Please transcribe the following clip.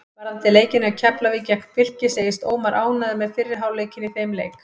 Varðandi leikinn hjá Keflavík gegn Fylki segist Ómar ánægður með fyrri hálfleikinn í þeim leik.